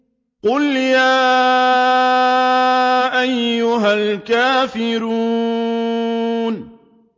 قُلْ يَا أَيُّهَا الْكَافِرُونَ